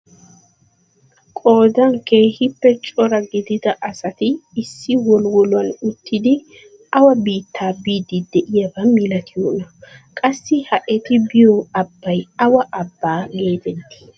Qoodan keehippe cora gidida asati issi wolwoluwaan uttidi awa biittaa biidi de'iyaaba milatiyoonaa? qassi ha eti biyoo abbay awa abbaa getettii?